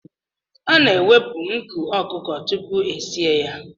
A na-ewepụ nku ọkụkọ tupu esie ya.